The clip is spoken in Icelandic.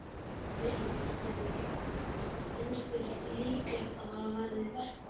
Lillý Valgerður: Finnst þér líklegt að það verði verkfall?